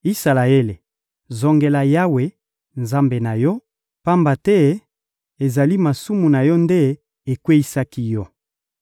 Isalaele, zongela Yawe, Nzambe na yo, pamba te ezali masumu na yo nde ekweyisaki yo.